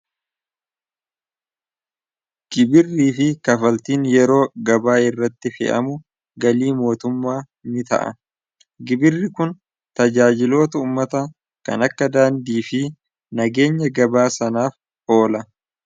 gibirrii fi kafaltiin yeroo gabaa irratti fi'amu galii mootummaa ni ta'a gibirri kun tajaajiloo tuummata kan akka daandii fi nageenya gabaa sanaaf oola